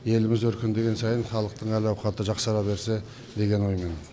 еліміз өркендеген сайын халықтың әл ауқаты жақсара берсе деген оймен